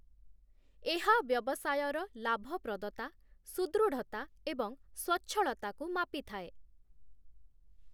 ଏହା ବ୍ୟବସାୟର ଲାଭପ୍ରଦତା, ସୁଦୃଢ଼ତା ଏବଂ ସ୍ଵଚ୍ଛଳତାକୁ ମାପିଥାଏ ।